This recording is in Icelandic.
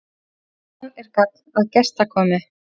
Sjaldan er gagn að gestakomu.